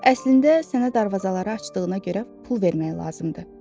Əslində sənə darvazaları açdığına görə pul vermək lazımdır.